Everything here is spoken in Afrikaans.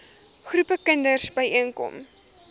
groepe kinders byeenkom